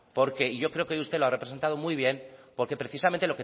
porque y yo creo que usted lo ha representado muy bien porque precisamente